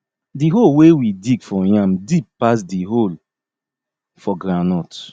di hole wey we dig for yam deep pass di hole for groundnut